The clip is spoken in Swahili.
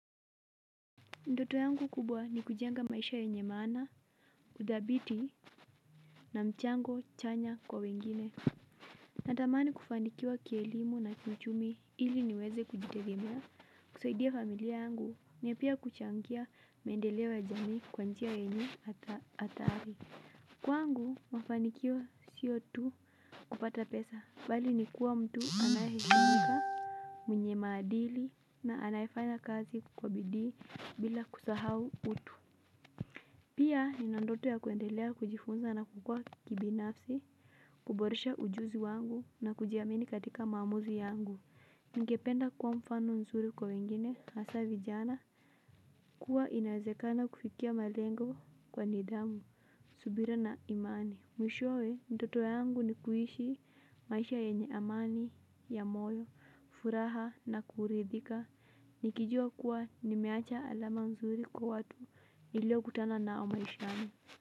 Ndoto yangu kubwa, ni kujenga maisha yenye maana, udhabiti na mchango chanya kwa wengine. Natamani kufanikiwa kielimu na kiuchumi ili niweze kujitegemea, kusaidia familia yangu na pia kuchangia, miendeleo ya jamii kwa njia yenye, athari. Kwangu mafanikio sio tu kupata pesa. Bali ni kuwa mtu anayeheshimika, mwenye maadili na anaye fanya kazi kwa bidii, bila kusahau utu. Pia, nina ndoto ya kuendelea kujifunza na kukua kibinafsi. Kuboresha ujuzi wangu na kujiamini katika maamuzi yangu. Ningependa kua mfano nzuri kwa wengine, hasa vijana. Kuwa inazekana kufikia malengo kwa nidamu. Subira na imani. Mwishowe, ndoto yangu ni kuishi maisha yenye amani ya moyo, furaha na kuridhika. Nikijua kuwa nimeacha alama mzuri kwa watu, nilio kutana nao maishani.